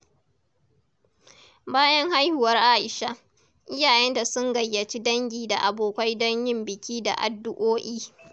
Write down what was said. Bayan haihuwar Aisha, iyayenta sun gayyaci dangi da abokai don yin biki da addu’o’i.